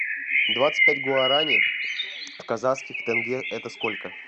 двадцать пять гуарани в казахских тенге это сколько